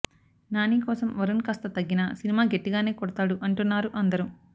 నాని కోసం వరుణ్ కాస్త తగ్గినా సినిమా గట్టిగానే కొడతాడు అంటున్నారు అందరూ